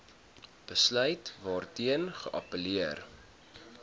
besluit waarteen geappelleer